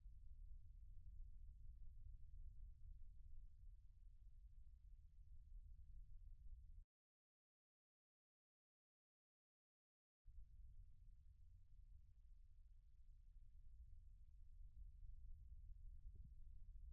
Konkolaataan gosa geejjiba lafarraa keessaa tokko ta'ee, geejjiba namoonni guyyaa guyyaan ittiin imalaniidha. Konkolaataan lafa fageenya qabu, miillan deemuuf ulfaatu yookiin hindanda'amne tokko sa'aatii muraasa keessatti qaqqabuuf baay'ee nama gargaara.